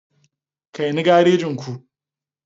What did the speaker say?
Kai ni garejin ku.